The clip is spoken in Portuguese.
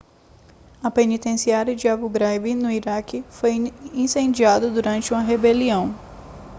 a penitenciária de abu ghraib no iraque foi incendiada durante uma rebelião